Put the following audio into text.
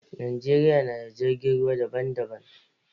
Najeriya na da jirgin ruwa da ban da ban.